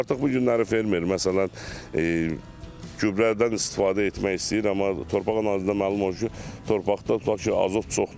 Amma artıq bu günləri fermer, məsələn, gübrədən istifadə etmək istəyir, amma torpaq analizindən məlum olur ki, torpaqda tutaq ki, azot çoxdur kifayət qədər.